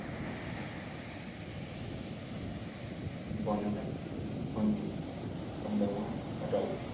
বন বিভাগ মন্ত্ৰী চন্দ্ৰমোহন পাটোৱাৰী।